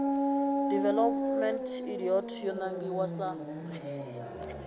development idt yo nangiwa sa